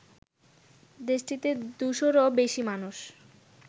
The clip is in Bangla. দেশটিতে দুশোরও বেশি মানুষ